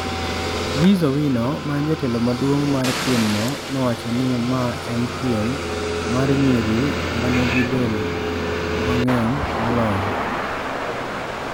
Liz Owino ma en jatelo maduong' mar piemno, nowacho ni ma en piem mar nyiri ma nigi del ng'eny moloyo.